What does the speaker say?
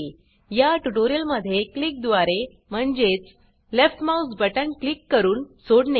या ट्यूटोरियल मध्ये क्लिक द्वारे म्हणजेच लेफ्ट माउस बटन क्लिक करून सोडणे